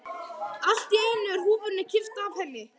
Allt í einu er húfunni kippt af henni!